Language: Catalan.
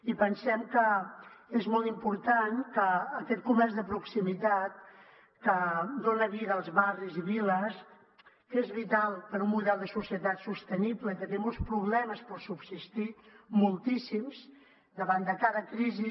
i pensem que és molt important que aquest comerç de proximitat que dona vida als barris i viles que és vital per a un model de societat sostenible i que té molts problemes per subsistir moltíssims davant de cada crisi